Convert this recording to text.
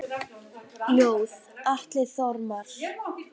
Ljóð: Atli Þormar